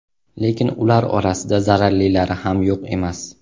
Lekin ular orasida zararlilari ham yo‘q emas.